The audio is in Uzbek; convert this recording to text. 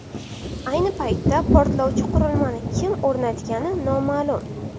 Ayni paytda portlovchi qurilmani kim o‘rnatgani noma’lum.